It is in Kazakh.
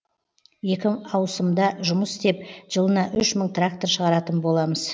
екі аусымда жұмыс істеп жылына үш мың трактор шығаратын боламыз